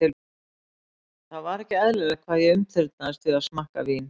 Það var ekki eðlilegt hvað ég umturnaðist við að smakka vín.